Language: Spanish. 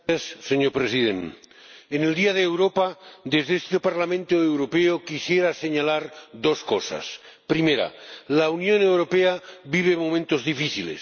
Señor Presidente, en el Día de Europa, desde este Parlamento Europeo, quisiera señalar dos cosas. Primera, la Unión Europea vive momentos difíciles.